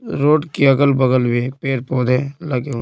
road की अगल-बगल में पेड़-पौधे लगे हुए--